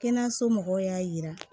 Kɛnɛyaso mɔgɔw y'a jira